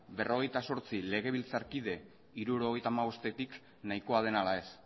berrogeita zortzi legebiltzarkide hirurogeita hamabosttetik nahikoa den ala ez